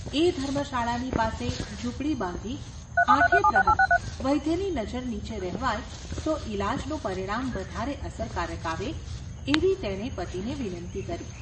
એ ધર્મશાળાની પાસે ઝૂંપડી બાંધી આઠે પ્રહર વૈદ્યની નજર નીચે રહેવાય તો ઈલાજનું પરિણામ વધારે અસરકારક આવે એવી તેણે પતિને વિનંતી કરી.